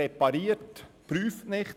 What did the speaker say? Wer repariert, prüft nicht;